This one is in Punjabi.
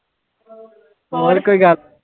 ਹੋਰ ਕੋਈ ਗੱਲ।